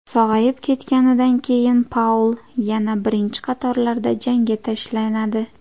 Sog‘ayib ketganidan keyin Paul yana birinchi qatorlarda janga tashlanadi.